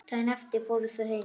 Daginn eftir fóru þau heim.